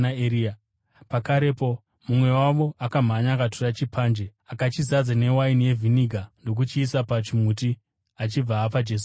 Pakarepo mumwe wavo akamhanya akatora chipanje. Akachizadza newaini yevhiniga ndokuchiisa pachimuti, achibva apa Jesu kuti anwe.